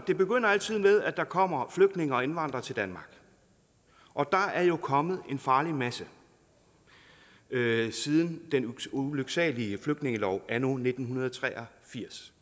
det begynder altid med at der kommer flygtninge og indvandrere til danmark og der er jo kommet en farlig masse siden den ulyksalige flygtningelov anno nitten tre og firs